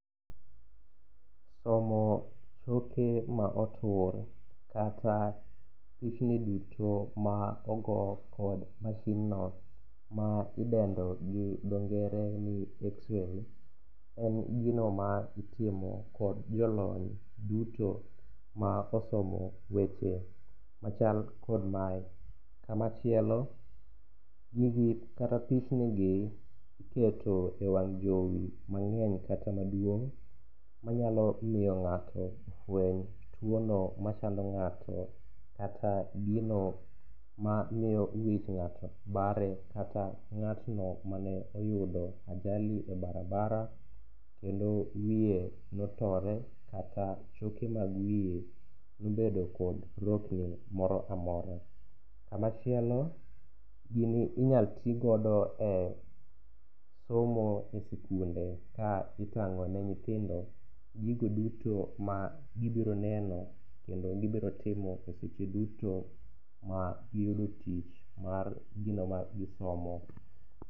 Somo choke ma otuore kata pichni duto ma ogo kod masinno ma idendo gi dhongere ni x-ray, en gino ma itimo kod jolony duto ma osomo weche machal kod mae, kamachielo kata pichnigi iketo e wang' jowi mang'eny kata maduong' manyalo miyo fweny tuwono machando ng'ato kata gino ma miyo wich ng'ato bare kata ng'atno mane oyudo ajali e barabara ,kendo wiye notore kata choke mag wiye nobedo kod rokni moro amora. Kamachielo gini inyalo ti godo e somo e sikunde ka itang'one nyithindo gigo duto ma gibiro neno kendo gibiro timo e seche duto ma giyudo tich mar gino ma gisomo.